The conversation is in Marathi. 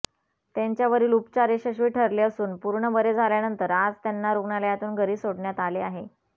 त्यांच्यावरील उपचार यशस्वी ठरले असून पूर्ण बरे झाल्यानंतर आज त्यांना रुग्णालयातून घरी सोडण्यात आले आहे